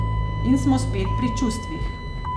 In smo spet pri čustvih.